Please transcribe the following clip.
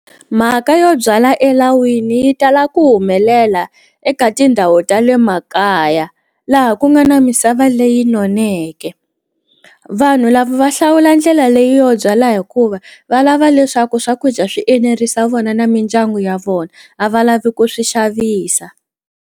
Mhaka yo byala elawini yi tala ku humelela eka tindhawu ta le makaya laha ku nga na misava leyi noneke vanhu lava va hlawula ndlela leyo byala hikuva va lava leswaku swakudya swi enerisa vona na mindyangu ya vona a va lavi ku swi xavisa.